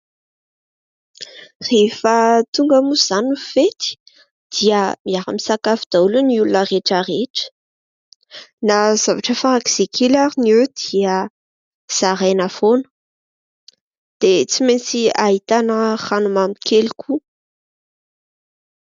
Rehefa tonga moa izany ny fety, dia miara-misakafo daholo ny olona rehetra rehetra. Na zavatra farak'izay kely ary ny eo dia zaraina foana. Dia tsy maintsy ahitana ranomamy kely koa.